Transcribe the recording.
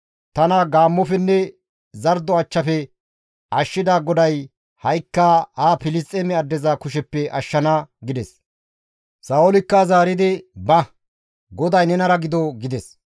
Tana gaammofenne zardo achchafe ashshida GODAY ha7ikka ha Filisxeeme addeza kusheppe ashshana» gides; Sa7oolikka zaaridi, «Ba, GODAY nenara gido» gides.